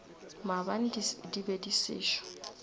maabane di be di sešo